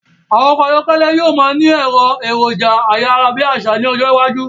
Ọkọ̀ ayọ́kẹ́lẹ̀ yí o máa ni àwọn èròjà ayárábiàsà ni ọjọ́ iwájú